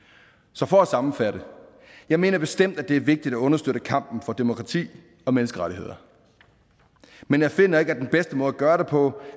så for at sammenfatte jeg mener bestemt at det er vigtigt at understøtte kampen for demokrati og menneskerettigheder men jeg finder ikke at den bedste måde at gøre det på